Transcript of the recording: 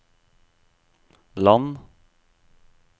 land